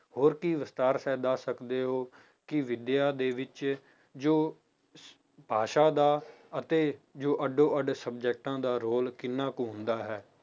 ਹੋਰ ਕੀ ਵਿਸਥਾਰ ਸਹਿਤ ਦੱਸ ਸਕਦੇ ਹੋ ਕਿ ਵਿਦਿਆ ਦੇ ਵਿੱਚ ਜੋ ਭਾਸ਼ਾ ਦਾ ਅਤੇ ਜੋ ਅੱਡੋ ਅੱਡ subject ਦਾ role ਕਿੰਨਾ ਕੁ ਹੁੰਦਾ ਹੈ।